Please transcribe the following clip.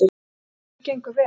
Innritun gengur vel.